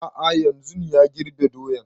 A'a yanzun ya girbe doyan